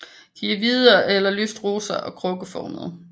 De er hvide eller lyst rosa og krukkeformede